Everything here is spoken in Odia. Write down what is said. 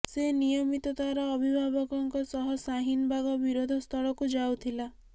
ସେ ନିୟମିତ ତାର ଅଭିଭାବକଙ୍କ ସହ ଶାହିନ ବାଗ ବିରୋଧ ସ୍ଥଳକୁ ଯାଉଥିଲା